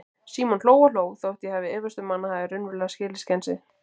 Símon hló og hló, þótt ég efist um að hann hafi raunverulega skilið skensið.